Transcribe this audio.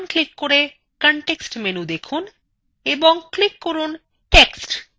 ডান click করে context menu দেখুন এবং click করুন text